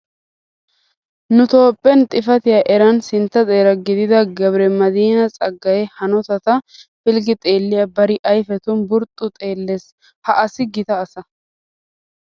Nu toophphen xifatiya eran sintta xeera gidida Gabre madiina Tsaggaaye hanotata pilggi xeelliya bari ayfetun burxxu gi xeellees. Ha asi gita asa.